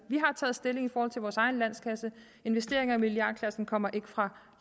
vi har taget stilling i forhold til vores egen landskasse og investeringer i milliardklassen kommer ikke fra